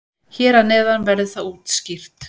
Hér að neðan verður það útskýrt.